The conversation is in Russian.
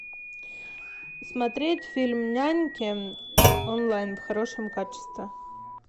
смотреть фильм няньки онлайн в хорошем качестве